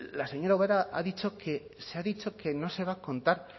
la señora ubera ha dicho que no se va a contar